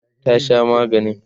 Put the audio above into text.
ta Sha maganin?